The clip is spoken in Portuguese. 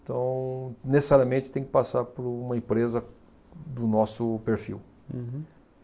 Então, necessariamente, tem que passar por uma empresa do nosso perfil. Uhum.